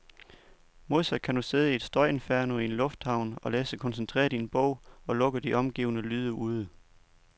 Modsat kan du sidde i et støjinferno i en lufthavn og læse koncentreret i en bog, og lukke de omgivende lyde ude.